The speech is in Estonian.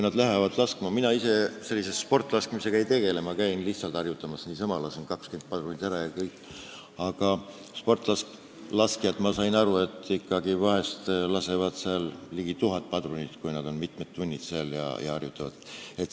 Mina ise sportlaskmisega ei tegele, ma käin lihtsalt harjutamas, lasen 20 padrunit ära ja kõik, aga sportlaskjad, ma olen aru saanud, lasevad vahest ligi tuhat padrunit, kui nad mitu tundi harjutavad.